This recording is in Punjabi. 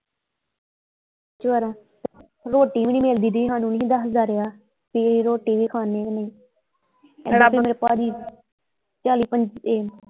ਰੋਟੀ ਵੀ ਨਹੀਂ ਮਿਲਦੀ ਦੀ ਸਾਨੂੰ ਦੱਸਦਾ ਰਿਹਾ ਵੀ ਰੋਟੀ ਵੀ ਖਾਨੇ ਅਸੀਂ ਰੱਬ ਨੇ ਭਾਜੀ ਚੱਲ